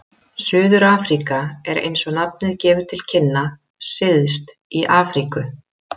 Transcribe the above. Suður-Afríka er, eins og nafnið gefur til kynna, syðst í Afríku.